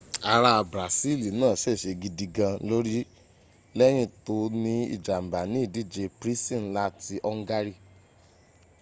ara brasili naa ṣèṣe gidi gaan lórí lẹ́yìn tó ní ìjàmbá ní ìdíje prisi nla ti ongari